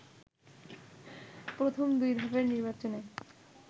প্রথম দুই ধাপের নির্বাচনে